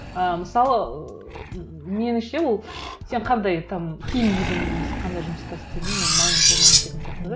і мысалы меніңше ол сен қандай там киім кидің немесе қандай жұмыста істедің ол маңызды болмай кететін сияқты да